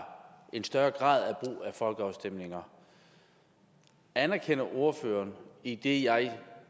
en større grad af folkeafstemninger anerkender ordføreren idet jeg